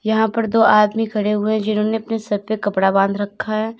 यहां पर दो आदमी खड़े हुए जिन्होंने अपने सर पे कपड़ा बांध रखा है।